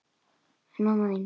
En mamma þín?